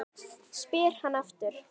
spyr hann aftur.